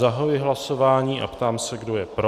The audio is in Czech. Zahajuji hlasování a ptám se, kdo je pro.